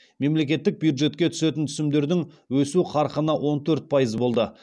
мемлекеттік бюджетке түсетін түсімдердің өсу қарқыны он төрт пайыз болды